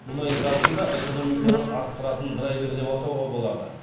мұнай газды да экономиканы арттыратын драйвер деп атауға болады